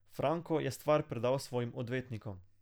Franko je stvar predal svojim odvetnikom.